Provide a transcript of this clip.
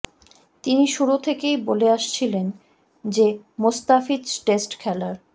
তিনি শুরু থেকেই বলে আসছিলেন যে মোস্তাফিজ টেস্ট খেলার